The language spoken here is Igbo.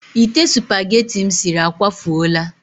Ite supageti m siri akwafuola.